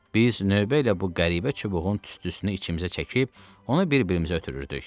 Biz növbə ilə bu qəribə çubuğun tüstüsünü içimizə çəkib, onu bir-birimizə ötürürdük.